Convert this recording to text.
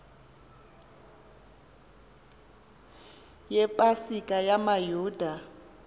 yepa sika yamayuda